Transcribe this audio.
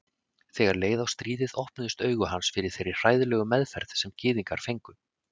Þegar leið á stríðið opnuðust augu hans fyrir þeirri hræðilegu meðferð sem gyðingar fengu.